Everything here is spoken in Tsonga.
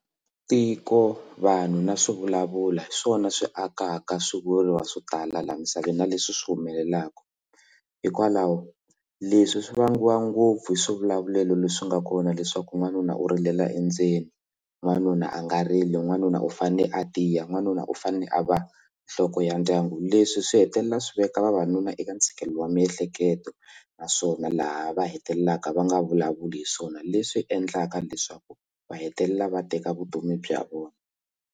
Tiko vanhu na swi vulavula hi swona swi akaka swivulwa swo tala laha misaveni na leswi swi humelelaka hikwalaho leswi swi vangiwa ngopfu hi swivulavulelo leswi nga kona leswaku n'wanuna u rilela endzeni n'wanuna a nga rili n'wanuna u fane a tiya n'wanuna u fanele a va nhloko ya ndyangu leswi swi hetelela swi veka vavanuna eka ntshikelelo wa miehleketo naswona laha va hetelelaka va nga vulavuli hi swona leswi endlaka leswaku va hetelela va teka vutomi bya vona.